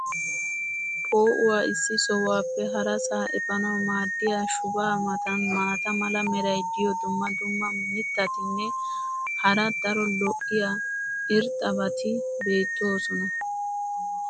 poo'uwa issi sohuwappe harasaa epaanawu maadiya shubaa matan maata mala meray diyo dumma dumma mitatinne hara daro lo'iya irxxabati beetoosona.